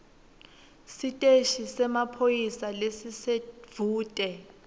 siteshi semaphoyisa lesisedvute